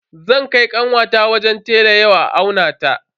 Zan kai kanwata wajen tela ya aunata.